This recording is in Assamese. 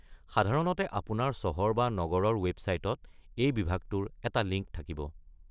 সাধাৰণতে আপোনাৰ চহৰ বা নগৰৰ ৱেবছাইটত এই বিভাগটোৰ এটা লিঙ্ক থাকিব।